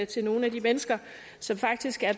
til nogle af de mennesker som faktisk er